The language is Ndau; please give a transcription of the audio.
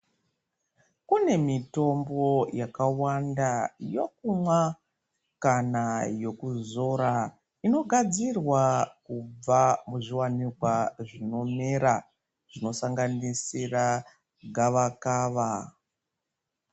Kune mitombo yakawanda yekumwa kana ye kuzora inogadzirwa kubva muzviwanikwa zvinomera zvinosanganisira gavakava.